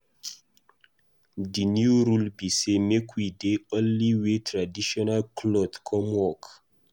The new rule be say make we dey only wear traditional cloth come work.